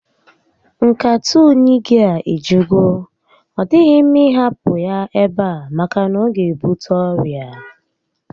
Nkata únyí gị a ejugo, ọ dịghị mma ị hapụ ya ebe a maka na ọ ga ebute ọrịa